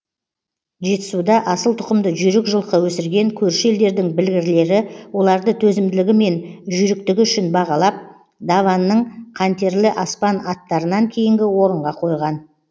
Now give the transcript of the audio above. жетісуда асыл тұқымды жүйрік жылқы өсірген көрші елдердің білгірлері оларды төзімділігі мен жүйріктігі үшін бағалап даванның қантерлі аспан аттарынан кейінгі орынға қойған